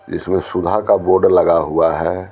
जिसमें सुधा का बोर्ड लगा हुआ है।